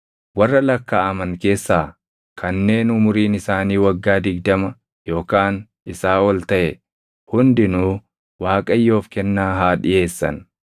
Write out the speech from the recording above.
Warra lakkaaʼaman keessaa kanneen umuriin isaanii waggaa digdama yookaan isaa oli taʼe hundinuu Waaqayyoof kennaa haa dhiʼeessan.